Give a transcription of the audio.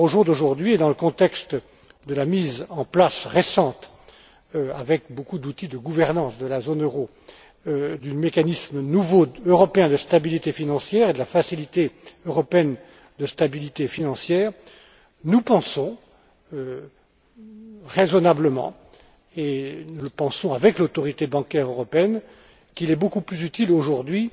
Aujourd'hui et dans le contexte de la mise en place récente, avec beaucoup d'outils de gouvernance de la zone euro, du nouveau mécanisme européen de stabilité financière et de la Facilité européenne de stabilité financière, nous pensons raisonnablement et nous le pensons avec l'Autorité bancaire européenne qu'il est beaucoup plus utile aujourd'hui